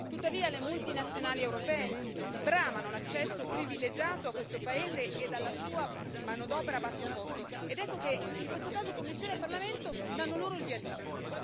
Tuttavia le multinazionali europee bramano l'accesso privilegiato a questo paese e alla sua manodopera a basso costo ed ecco che in questo caso Commissione e Parlamento danno loro il via libera.